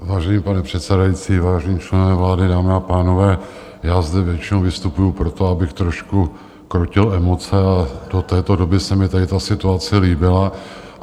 Vážený pane předsedající, vážení členové vlády, dámy a pánové, já zde většinou vystupuji proto, abych trošku krotil emoce, ale do této doby se mi tady ta situace líbila.